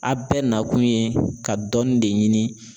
A bɛɛ nakun ye ka dɔnni de ɲini